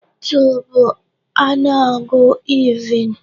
2 bụ ọnụọgụ even.